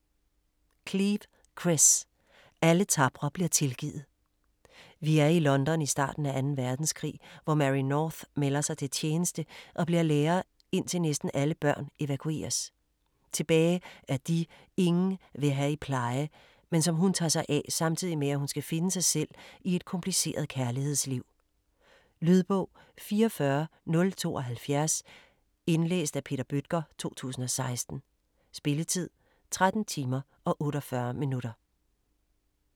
Cleave, Chris: Alle tapre bliver tilgivet Vi er i London i starten af 2. verdenskrig, hvor Mary North melder sig til tjeneste og bliver lærer indtil næsten alle børn evakueres. Tilbage er de, ingen vil have i pleje, men som hun tager sig af, samtidig med hun skal finde sig selv i et kompliceret kærlighedsliv. Lydbog 44072 Indlæst af Peter Bøttger, 2016. Spilletid: 13 timer, 48 minutter.